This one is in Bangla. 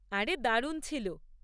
আরে, দারুণ ছিল!